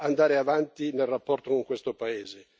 andare avanti nel rapporto con questo paese.